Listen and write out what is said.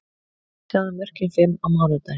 Sjáðu mörkin fimm á mánudaginn: